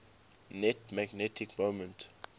net magnetic moment